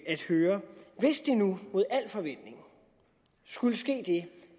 at høre hvis der nu mod al forventning skulle ske det